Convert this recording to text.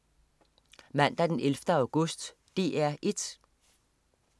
Mandag den 11. august - DR 1: